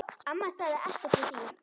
Amma sagði ekkert við því.